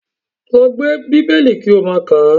Lọ gbé Bíbélì kí ó máa kàá!